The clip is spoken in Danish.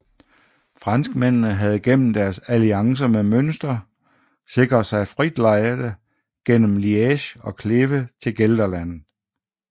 Franskmændene havde gennem deres alliancer med Münster sikret sig frit lejde gennem Liège og Kleve til Gelderland